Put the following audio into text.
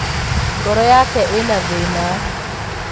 Ngoro yake īna thīna